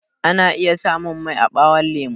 Ana iya samun mai a ɓawon lemo